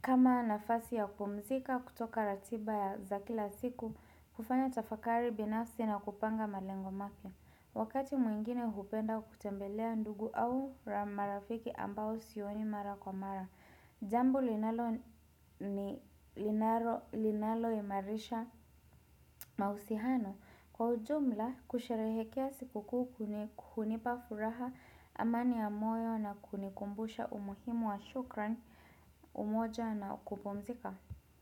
kama nafasi ya kupumzika kutoka ratiba ya za kila siku kufanya tafakari binafsi na kupanga malengo mapi. Wakati mwingine hupenda kutembelea ndugu au marafiki ambao sioni mara kwa mara. Jambo linaloimarisha mahusiano. Kwa ujumla kusherehekea sikukuu hunipa furaha amani ya moyo na kunikumbusha umuhimu wa shukrani umoja na kupumzika.